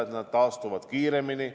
ja nad taastuvad kiiremini.